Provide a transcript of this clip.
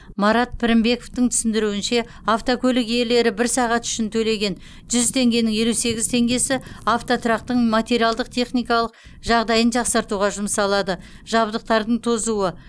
марат пірінбековтың түсіндіруінше автокөлік иелері бір сағат үшін төлеген жүз теңгенің елу сегіз теңгесі автотұрақтың материалдық техникалық жағдайын жақсартуға жұмсалады жабдықтардың тозуы